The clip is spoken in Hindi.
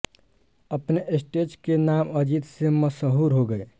अपने स्टेज के नाम अजीत से मशहूर हो गये